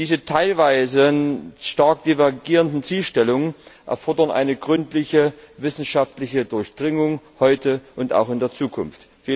Diese teilweise stark divergierenden Zielsetzungen erfordern eine gründliche wissenschaftliche Durchdringung heute und auch in der Zukunft.